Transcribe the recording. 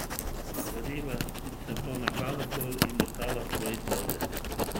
Izgovorila se bo na glavobol in ostala v svoji sobi.